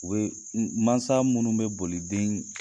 U bɛ mansa minnu bɛ boli den